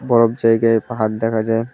বরফ জায়গায় পাহাড় দেখা যায়।